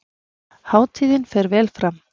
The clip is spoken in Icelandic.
Hátíðin fer vel fram